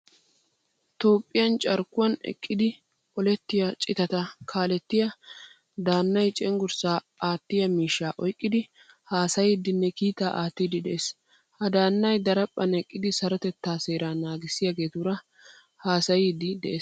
Toophphiyaan carkkuwaan eqqidi olettiya cittata kaalettiyaa daanay cenggurssa aattiyaa miishshaa oyqqidi haasayidinne kiittaa aattidi de'ees. Ha daanay diriphphaan eqqidi sarotettaa seeraa naagisiyagetura haasayidi de'ees.